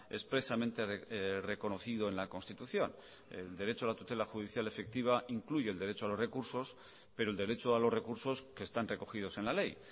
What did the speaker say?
expresamente reconocido en la constitución el derecho a la tutela judicial efectiva incluye el derecho a los recursos pero el derecho a los recursos que están recogidos en la ley